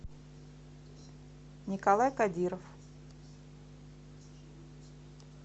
николай кадиров